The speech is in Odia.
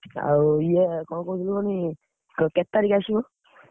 ଆଉ ଇଏ କଣ କହୁଥିଲି କୁହନି, କ କେତେ ତାରିଖ୍ ଆସିବ?